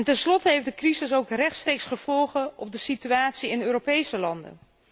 Tenslotte heeft de crisis ook rechtstreeks gevolgen voor de situatie in Europese landen.